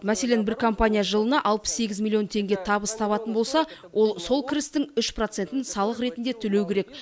мәселен бір компания жылына алпыс сегіз миллион теңге табыс табатын болса ол сол кірістің үш процентін салық ретінде төлеуі керек